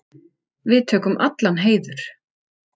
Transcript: Við tökum allan heiður.